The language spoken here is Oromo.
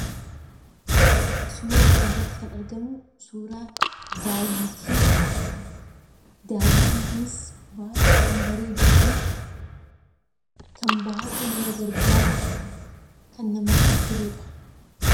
Suura kana irratti kan argamu, suuraa daawwitiiti. Daawwitiin kunis baay'ee kan bareeduufi kan baay'ee nama gargaaru: kan namatti toludha.